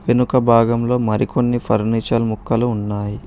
వెనుక భాగంలో మరికొన్ని ఫర్నిచర్ మొక్కలు ఉన్నాయి.